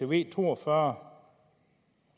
v to og fyrre